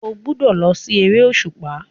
Ó gbúdọ̀ lọ sí eré òṣùpá.